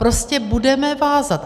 Prostě budeme vázat.